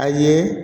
A ye